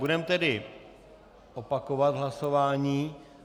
Budeme tedy opakovat hlasování.